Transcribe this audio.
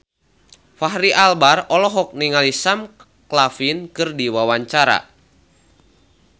Fachri Albar olohok ningali Sam Claflin keur diwawancara